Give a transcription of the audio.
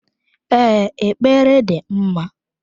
Ee, ekpere dị mma.